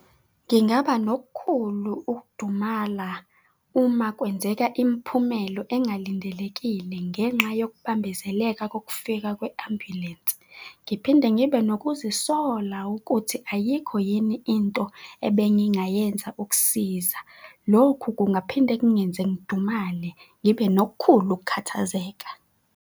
Ngingaba nokukhulu ukudumala uma kwenzeka imiphumelo engalindelekile ngenxa yokubambezeleka kokufika kwe-ambulense, ngiphinde ngibe nokuzisola ukuthi ayikho yini into ebengingayenza ukusiza. Lokhu kungaphinde kungenza ngidumale, ngibe nokukhulu ukukhathazeka.